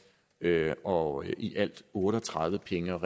og i alt otte og tredive penge og